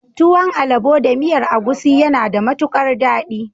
Tuwon alabo da miyar agusi yana da matukar dadi.